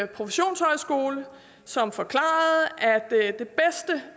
professionshøjskole som forklarede